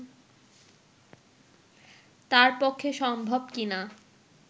তাঁর পক্ষে সম্ভব কি না